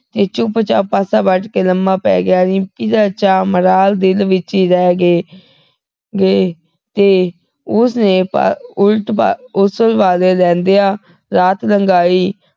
ਤੇ ਚੁਪਚਾਪ ਪਾਸਾ ਵੱਟ ਕੇ ਲੰਮਾ ਪੈ ਗਿਆ ਰਿੰਪੀ ਦਾ ਚਾ ਮਰਾਲ ਦਿਲ ਵਿਚ ਹੀ ਰਹਿ ਗਏ ਗਏ ਤੇ ਉਸ ਨੇ ਪਲ ਉਲਟ ਉਸਲਵੱਟੇ ਲੈਂਦੀਆਂ ਰਾਤ ਲੰਘਾਈ